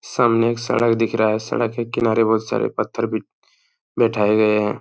सामने एक सड़क दिख रहा है सड़क के किनारे बोहोत सारे पत्थर भी बैठाए गए हैं।